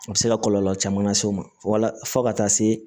A bɛ se ka kɔlɔlɔ caman lase u ma walasa fo ka taa se